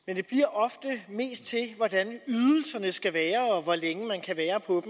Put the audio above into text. men det bliver ofte mest til hvordan ydelserne skal være og hvor længe man kan være på